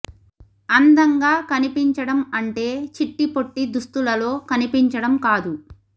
అందంగా కనిపించడం అంటే చిట్టి పొట్టి దుస్తులలో కనిపించడం కాదు